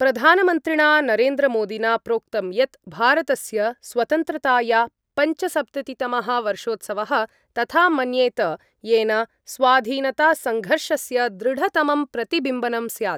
प्रधानमन्त्रिणा नरेन्द्रमोदिना प्रोक्तं यत् भारतस्य स्वतन्त्रताया पञ्चसप्ततितमः वर्षोत्सवः तथा मन्येत येन स्वाधीनतासङ्घर्षस्य दृढतमं प्रतिबिम्बनं स्यात्।